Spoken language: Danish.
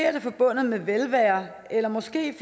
forbundet med velvære eller måske